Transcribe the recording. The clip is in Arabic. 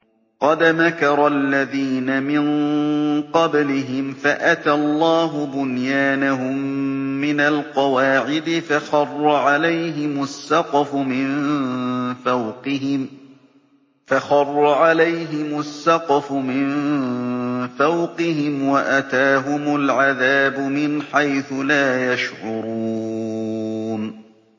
قَدْ مَكَرَ الَّذِينَ مِن قَبْلِهِمْ فَأَتَى اللَّهُ بُنْيَانَهُم مِّنَ الْقَوَاعِدِ فَخَرَّ عَلَيْهِمُ السَّقْفُ مِن فَوْقِهِمْ وَأَتَاهُمُ الْعَذَابُ مِنْ حَيْثُ لَا يَشْعُرُونَ